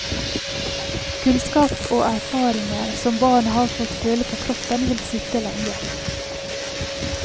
Kunnskap og erfaringer som barna har fått føle på kroppen vil sitte lenge.